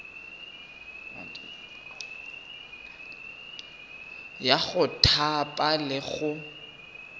ya go thapa le go